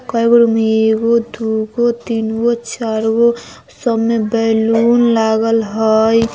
कैगो रूम हई एगो दूगो तीन गो चार गो सब मे बैलून लागल हाई ।